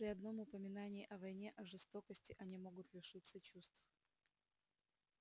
при одном упоминании о войне о жестокости они могут лишиться чувств